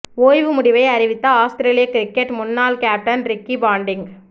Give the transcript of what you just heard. ஓய்வு முடிவை அறிவித்த ஆஸ்திரேலியா கிரிக்கெட் முன்னாள் கேப்டன் ரிக்கி பாண்டிங்